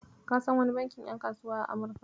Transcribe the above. Ka san wani bankin ƴan kasuwa a Amurka?